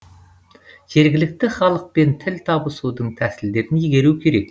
жергілікті халықпен тіл табысудың тәсілдерін игеру керек